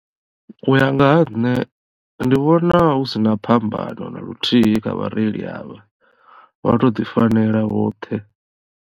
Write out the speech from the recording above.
U ya nga ha nṋe ndi vhona hu sina phambano na luthihi kha vhareili avha vha to ḓi fanela vhoṱhe.